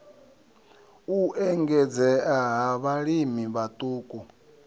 u engedzea ha vhalimi vhaṱuku